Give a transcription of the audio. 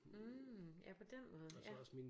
Mh ja på den måde ja